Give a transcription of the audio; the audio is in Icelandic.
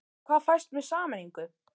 En hvað fæst með sameiningu?